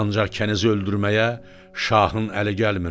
Ancaq kənizi öldürməyə şahın əli gəlmirdi.